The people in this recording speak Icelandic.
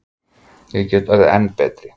Ég veit ég get orðið enn betri.